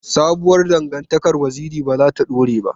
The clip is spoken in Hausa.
Sabuwar dangantakar Waziri ba za ta dore ba.